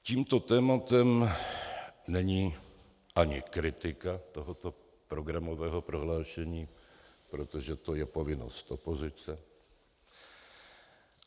Tímto tématem není ani kritika tohoto programového prohlášení, protože to je povinnost opozice.